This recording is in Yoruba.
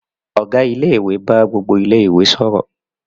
Ọ̀gá ilé-ìwé bá gbogbo ilé-ìwé sọ̀rọ̀.